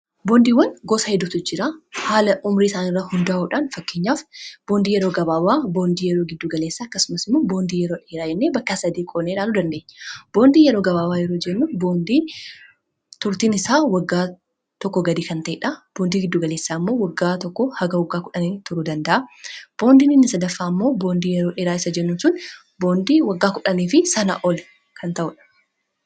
Boondiiwwan gosa heddutu jira haala umrii isaan irratti hundaa'uudhaan fakkeenyaaf boondii yeroo gabaabaa boondii yeroo giddu galeessaa akkasumas immoo boondii yeroo dheeraa jennee bakkaa 3tti qoodne ilaaluu dandeenya. Boondii yeroo gabaabawaa yeroo jennu boondii turtiin isaa waggaa tokko gadii kan ta’edha. Boondii giddu galeessa ammoo waggaati hanga wagga 1 turu danda’a .Boondii inni sadaffaa ammoo boondii yeroo dheeraa isa jennu sun boondii waggaa kudhanii fi sana ol kan ta'uudha.